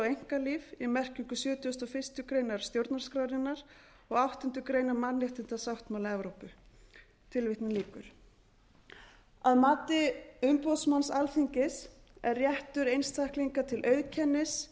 einkalíf í merkingu sjötugasta og fyrstu grein stjórnarskrárinnar og áttundu grein mannréttindasáttmála evrópu að mati umboðsmanns alþingis er réttur einstaklinga til auðkennis